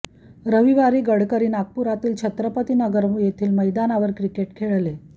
रविवारी गडकरी नागपुरातील छत्रपती नगर येथील मैदानावर क्रिकेट खेळले